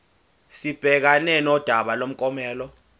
sibhekane nodaba lomklomelo